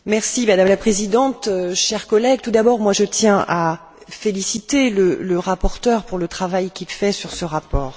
Madame la Présidente, chers collègues, tout d'abord, je tiens à féliciter le rapporteur pour le travail qu'il fait sur ce rapport.